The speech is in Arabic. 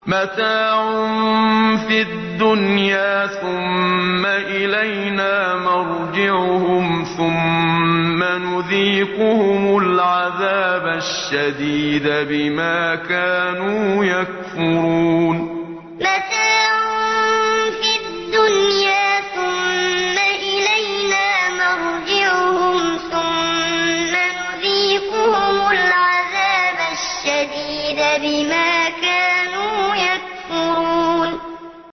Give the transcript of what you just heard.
مَتَاعٌ فِي الدُّنْيَا ثُمَّ إِلَيْنَا مَرْجِعُهُمْ ثُمَّ نُذِيقُهُمُ الْعَذَابَ الشَّدِيدَ بِمَا كَانُوا يَكْفُرُونَ مَتَاعٌ فِي الدُّنْيَا ثُمَّ إِلَيْنَا مَرْجِعُهُمْ ثُمَّ نُذِيقُهُمُ الْعَذَابَ الشَّدِيدَ بِمَا كَانُوا يَكْفُرُونَ